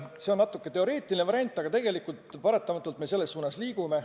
See on natuke teoreetiline variant, aga tegelikult me paratamatult selles suunas liigume.